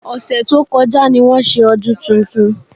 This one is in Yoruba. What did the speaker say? Ọ̀sẹ̀ tó kọjá ni wọ́n ṣe ọdún tuntun